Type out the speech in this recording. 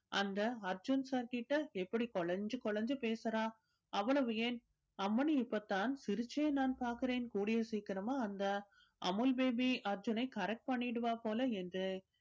அந்த அர்ஜுன் sir கிட்ட எப்படி குழைந்து குழைந்து பேசுறா அவ்வளவு ஏன் அம்மனி இப்ப தான் சிரிச்சே நான் பார்க்கிறேன். கூடிய சீக்கிரமா அந்த amul baby அர்ஜுனை correct பண்ணிடுவா போல என்றே